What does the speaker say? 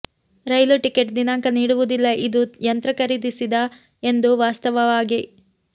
ರೈಲು ticket ದಿನಾಂಕ ನೀಡುವುದಿಲ್ಲ ಇದು ಯಂತ್ರ ಖರೀದಿಸಿದ ಎಂದು ವಾಸ್ತವವಾಗಿ